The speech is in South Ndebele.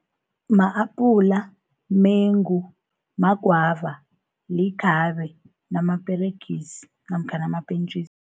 Ma-apula, mumengu, magwava, likhabe, namaperegisi namkha namapentjisi.